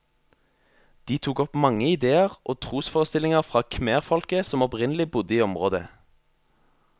De tok opp mange idéer og trosforestillinger fra khmerfolket som opprinnelig bodde i området.